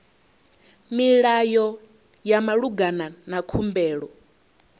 milayo ya malugana na khumbelo